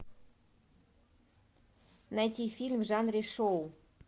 найти фильм в жанре шоу